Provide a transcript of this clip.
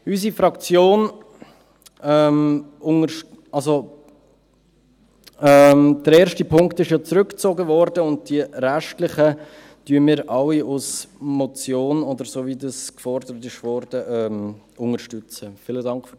Unsere Fraktion … Der erste Punkt wurde ja zurückgezogen, und die restlichen Punkte unterstützen wir alle als Motion oder so, wie es gefordert wurde.